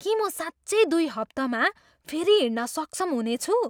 के म साँच्चै दुई हप्तामा फेरि हिँड्न सक्षम हुनेछु?